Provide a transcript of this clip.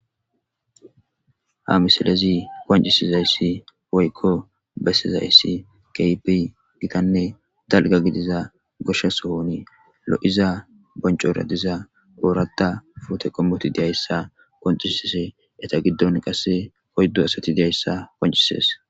Ha misilezi koncisizayssi woykko bessizayssi keypi gidanne dalga gidiza goshshasohoni lo,iza boncora diza oorata pute qommoti deyayssa qoncisise eta giddon qasse hoyddu asati deayssa qoncisees.